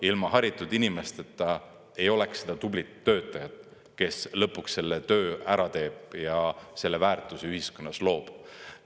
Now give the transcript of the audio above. Ilma haritud inimesteta ei oleks seda tublit töötajat, kes lõpuks selle töö ära teeb ja selle väärtuse ühiskonnas loob.